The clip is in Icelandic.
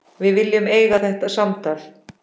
Við viljum eiga þetta samtal.